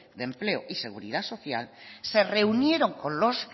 de empleo y de seguridad social se reunieron con los